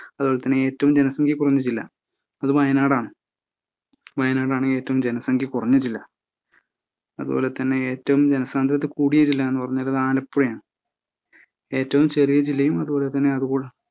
അതുപോലെതന്നെ ഏറ്റവും ജനസംഖ്യ കുറഞ്ഞ ജില്ലാ അത് വയനാടാണ്. വയനാടാണ് ഏറ്റവും ജനസംഖ്യ കുറഞ്ഞ ജില്ല. അതുപോലെ തന്നെ ഏറ്റവും ജനസാന്ദ്രത കൂടിയ ജില്ലാ എന്ന് പറയുന്നത് ആലപ്പുഴയാണ് ഏറ്റവും ചെറിയ ജില്ലയും അതുപോലെതന്നെ അതുകൂടാ